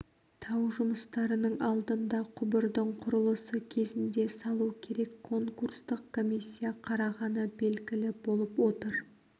тау жұмыстарының алдында құбырдың құрылысы кезінде салу керек конкурстық комиссия қарағаны белгілі болып отыр